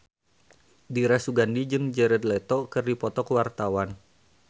Dira Sugandi jeung Jared Leto keur dipoto ku wartawan